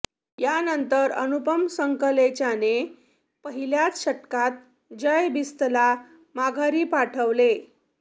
यानंतर अनुपम संकलेचाने पहिल्याच षटकात जय बिस्तला माघारी पाठवले